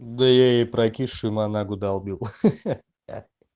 да я и прокисшую манагу долбил ха ха ха